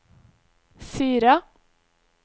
Sira